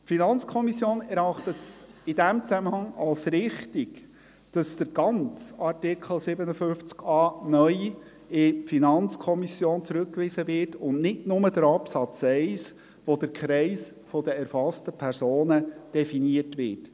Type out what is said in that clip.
Die FiKo erachtet es in diesem Zusammenhang als richtig, dass der ganze Artikel 57a (neu) an die FiKo zurückgewiesen wird, und nicht nur der Absatz 1, in welchem der Kreis der erfassten Personen definiert wird.